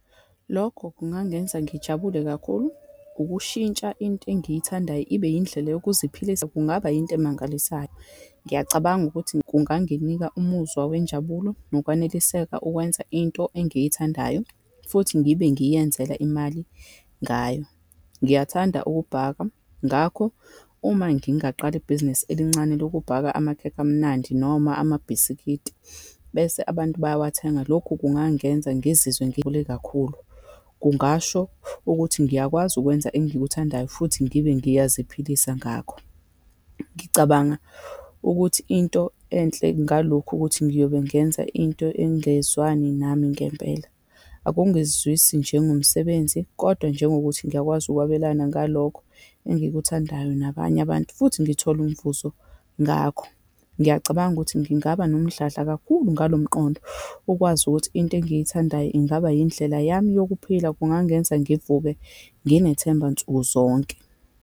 Lokho kungangenza ngijabule kakhulu, ukushintsha into engiyithandayo ibe indlela yokuziphilisa kungaba yinto emangalisayo. Ngiyacabanga ukuthi kunganginika umuzwa wenjabulo nokwaneliseka ukwenza into engiyithandayo, futhi ngibe ngiyenzela imali ngayo. Ngiyathanda ukubhaka, ngakho uma ngingaqala ibhizinisi elincane lokubhaka amakhekhe amnandi, noma amabhiskidi, bese abantu bayawathenge. Lokhu kungangenza ngizizwe kakhulu. Kungasho ukuthi ngiyakwazi ukwenza engikuthandayo, futhi ngibe ngiyaziphilisa ngakho. Ngicabanga ukuthi into enhle ngalokhu ukuthi, ngiyobe ngenza into engezwani nami ngempela. Akungizwisi njengomsebenzi, kodwa njengokuthi ngiyakwazi ukwabelana ngalokho engikuthandayo nabanye abantu, futhi ngithole umvuzo ngakho. Ngiyacabanga ukuthi ngingaba nomdladla kakhulu ngalomqondo, ukwazi ukuthi into engiyithandayo ingaba yindlela yami yokuphila, kungangenza ngivuke nginethemba nsukuzonke.